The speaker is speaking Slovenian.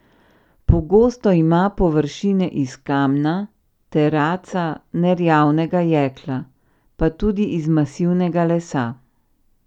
Pogosto ima površine iz kamna, teraca, nerjavnega jekla, pa tudi iz masivnega lesa.